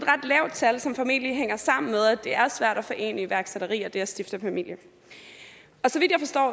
lavt tal som formentlig hænger sammen med at det er svært at forene iværksætteri og det at stifte familie